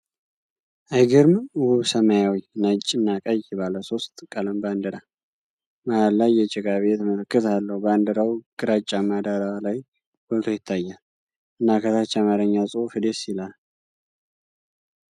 አይገርምም! ውብ ሰማያዊ፣ ነጭ እና ቀይ ባለ ሶስት ቀለም ባንዲራ መሀል ላይ የጭቃ ቤት ምልክት አለው። ባንዲራው ግራጫማ ዳራ ላይ ጎልቶ ይታያል፣ እና ከታች የአማርኛ ጽሑፍ ደስ ይላል።